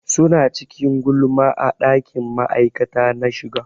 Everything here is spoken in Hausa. Suna cikin gulma a ɗakin ma'aikata na shiga.